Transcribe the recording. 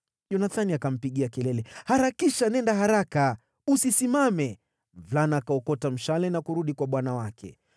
Yonathani akampigia kelele, “Harakisha, nenda haraka! Usisimame!” Mvulana akaokota mshale na kurudi kwa bwana wake.